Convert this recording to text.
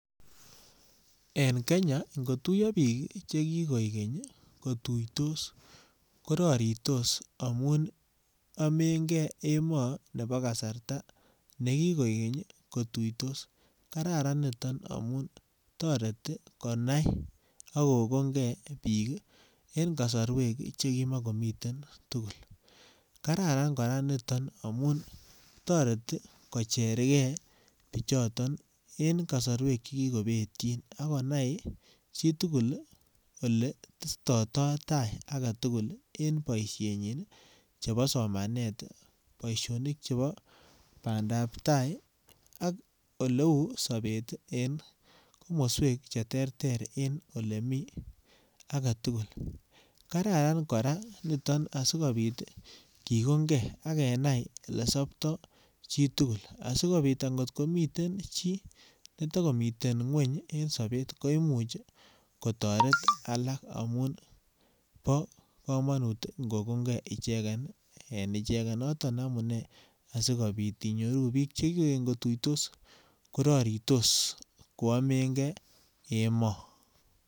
En Kenya, ngotuiya biik chekikoek keny kotuitos koraritos amun amenge emoo nebo kasarta ne kikoek keny kotuitos. Karan nito amun toreti konai ak kokon ngebiik en kasarwek chekimakomiten tugul. Kararan kora niton amun toreti kocherge biichoton eng kasarwek che kikobetyin ak konai chitugul oletetoitoi ta agetugul en boisienyin chebo somanet. Boisionik chebo bandaab tai ak oleu sobeten komswek cheterter en olemi agetugul. Kararan kora niton asigopit kigonnge ak kenai olesopto chitugul. Asigopit angomiten chi netagumiten ngweny en sobet koimuch kotaret alak amun bo kamanut ingogonnge ichegen en ichegen. Noton amunee asigopit inyoru biik che kigoigeny kotuitos, koraritos koamenge emoo.